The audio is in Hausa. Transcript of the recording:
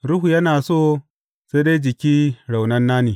Ruhu yana so, sai dai jiki raunana ne.